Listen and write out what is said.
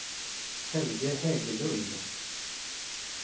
Helge Hägglund